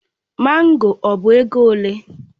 Mango ọ bụ ego ole?